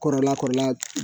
Kɔrɔla kɔrɔla